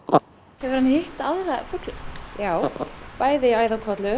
hefur hann hitt aðra fugla já bæði